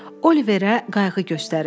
Oliverə qayğı göstərirlər.